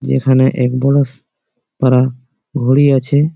যেখানে এক বড়োস পারা ঘড়ি আছে--